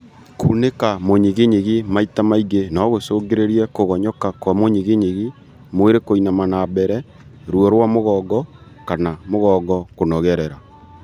Kunĩka mũnyiginyigi maita maingĩ nogũcũngĩrĩrie kũgonyoka kwa mũnyiginyigi, mwĩrĩ kũinama na mbere , ruo rwa mũgongo kana mũgongo kũnogerera